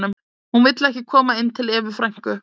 Hún vill ekki koma inn til Evu frænku.